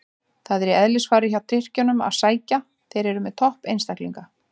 Það er í eðlisfari hjá Tyrkjunum að sækja, þeir eru með topp einstaklinga.